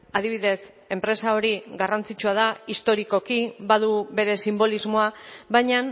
adibidez enpresa hori garrantzitsua da historikoki badu bere sinbolismoa baina